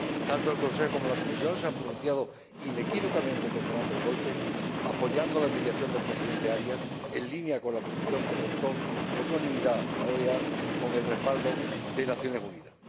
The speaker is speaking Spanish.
Tanto el Consejo como la Comisión se han pronunciado inequívocamente condenando el golpe, apoyando la mediación del presidente Arias en línea con la posición que adoptó por unanimidad la OEA con el respaldo de las Naciones Unidas.